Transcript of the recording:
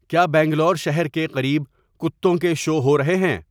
کیا بنگلور شہر کے قریب کتوں کے شو ہو رہے ہیں